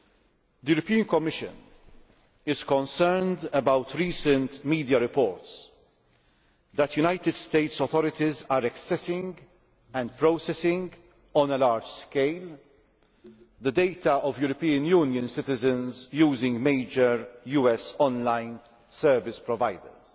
The European Commission is concerned about recent media reports that the United States authorities are accessing and processing on a large scale the data of European Union citizens using major US online service providers.